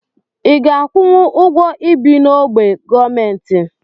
Iga akwụnwụ ụgwọ ibi n'ogbe gọọmenti?